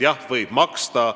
Jah, võib maksta.